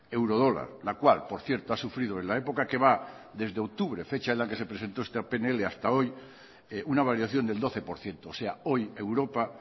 euro dólar la cual por cierto ha sufrido en la época que va desde octubre fecha en la que se presentó esta pnl hasta hoy una variación del doce por ciento o sea hoy a europa